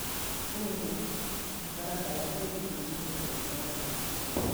Rũtha, mũtaratara ũbatiĩ kũrũmĩrĩra watho wa mĩako.